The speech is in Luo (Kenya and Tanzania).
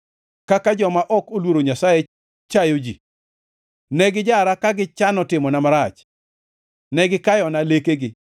Kaka joma ok oluoro Nyasaye chayo ji, ne gijara ka gichano timona marach, ne gikayona lekegi.